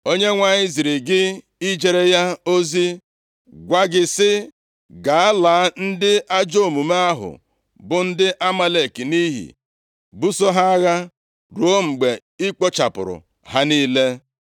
Onyenwe anyị ziri gị ijere ya ozi, gwa gị sị, ‘Gaa, laa ndị ajọ omume ahụ, bụ ndị Amalek nʼiyi; buso ha agha ruo mgbe ị kpochapụrụ ha niile.’